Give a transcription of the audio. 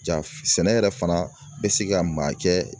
Ja sɛnɛ yɛrɛ fana bɛ se ka maa kɛ